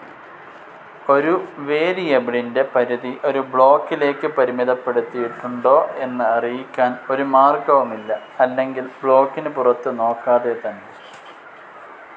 ഒരു വേരിയബിളിന്റെ പരിധി ഒരു ബ്ലോക്കിലേക്ക് പരിമിതപ്പെടുത്തിയിട്ടുണ്ടോ എന്ന് അറിയിക്കാൻ ഒരു മാർഗ്ഗവുമില്ല അല്ലെങ്കിൽ ബ്ലോക്കിന് പുറത്ത് നോക്കാതെ തന്നെ.